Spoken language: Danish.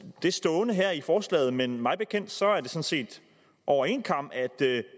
det stående her i forslaget men mig bekendt sådan set over en kam at